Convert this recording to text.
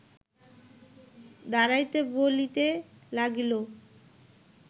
দাঁড়াইতে বলিতে লাগিল